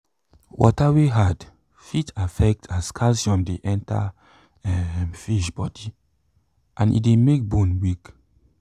water wey hard fit affect as calcium de enter um fish boody and e de make bone weak